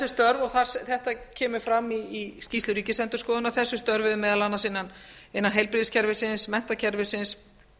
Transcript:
störf og þetta kemur fram í skýrslu ríkisendurskoðunar og þessi störf eru meðal annars innan heilbrigðiskerfisins menntakerfisins